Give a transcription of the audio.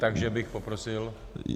Takže bych poprosil -